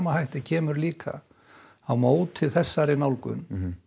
hætti kemur líka á móti þessari nálgun